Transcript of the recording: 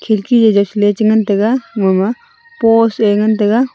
khirki jaw jaw chaley chengan taiga mama post eh ngan taiga.